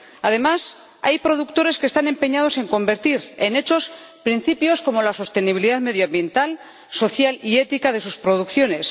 Además, hay productores que están empeñados en convertir en hechos principios como la sostenibilidad medioambiental, social y ética de sus producciones.